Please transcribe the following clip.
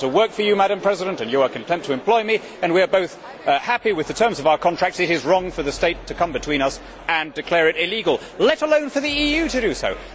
If I want to work for you, Madam President, and you are content to employ me and we are both happy with the terms of our contract, it is wrong for the state to come between us and declare it illegal let alone for the EU to do so.